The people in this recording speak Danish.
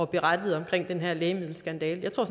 berettede om den her lægemiddelskandale jeg tror